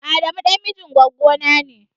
Adamu ɗan mijin gwaggona ne.